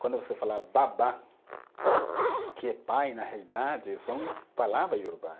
Quando você fala babá, que é pai, na realidade, são palavras Iorubá.